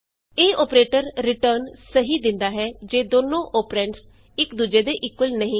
ਇਹ operator return ਸਹੀ ਦਿੰਦਾ ਹੈ ਜੇ ਦੋਨੋ ਅੋਪਰੈਂਡਸਇਕ ਦੂਜੇ ਦੇ ਇਕੁਅਲ ਨਹੀਂ ਹਨ